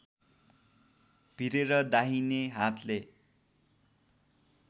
भिरेर दाहिने हातले